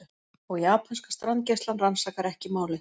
Og japanska strandgæslan rannsakar ekki málið